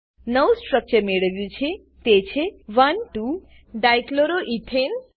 નવું સ્ટ્રક્ચર મેળવ્યું છે તે છે 12 ડાઇક્લોરોઇથેન